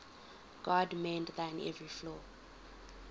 god mend thine every flaw